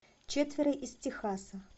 четверо из техаса